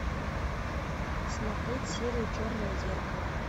смотреть серию черное зеркало